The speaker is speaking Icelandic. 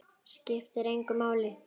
Skiptir ekki máli.